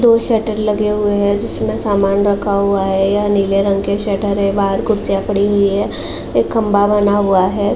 दो शटर लगे हुए हैं जिसमें सामान रखा हुआ है। यह नीले रंग के शटर हैं। बाहर कुर्सियां पड़ी हुई हैं। एक खंभा बना हुआ है।